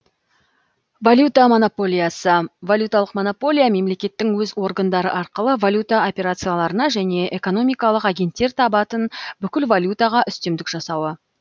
валюта монополиясы валюталық монополия мемлекеттің өз органдары арқылы валюта операцияларына және экономикалық агенттер табатын бүкіл валютаға үстемдік жасауы